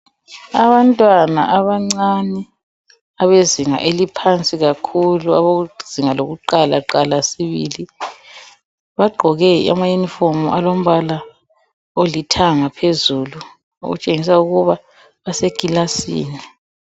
Abantwana abancane abezinga eliphansi kakhulu abakuzinga lokuqala qala sibili bagqoke amayunifomu alombala olithanga phezulu okutshengisa ukuba basekilasini.